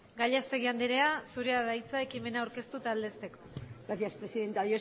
gallastegui andrea zurea da hitza ekimena aurkeztu eta aldezteko gracias presidenta